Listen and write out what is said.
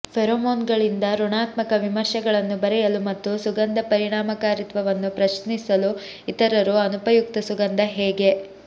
ಫೆರೋಮೋನ್ಗಳಿಂದ ಋಣಾತ್ಮಕ ವಿಮರ್ಶೆಗಳನ್ನು ಬರೆಯಲು ಮತ್ತು ಸುಗಂಧ ಪರಿಣಾಮಕಾರಿತ್ವವನ್ನು ಪ್ರಶ್ನಿಸಲು ಇತರರು ಅನುಪಯುಕ್ತ ಸುಗಂಧ ಹೇಗೆ